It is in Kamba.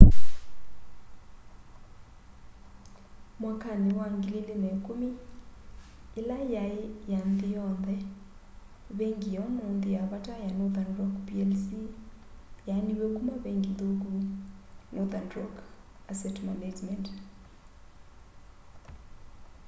mwakani wa 2010 yila yai ya nthi yonthe vengi ya umunthi ya vata ya northern rock plc yaaniw'e kuma vengi nthuku” northern rock asset management